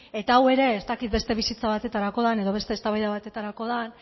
eta hau ere ez dakit beste bizitza batetarako den edo beste eztabaida batetarako den